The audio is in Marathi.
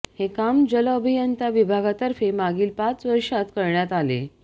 हे काम जल अभियंता विभागातर्फे मागील पाच वर्षात करण्यात आले